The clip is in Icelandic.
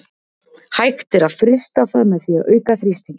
Hægt er að frysta það með því að auka þrýstinginn.